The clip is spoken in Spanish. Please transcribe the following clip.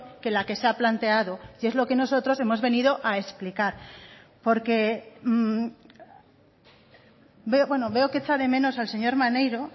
que la que se ha planteado y es lo que nosotros hemos venido a explicar porque veo que echa de menos al señor maneiro